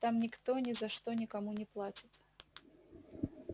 там никто ни за что никому не платит